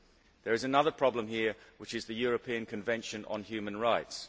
There is another problem here, which is the European Convention on Human Rights.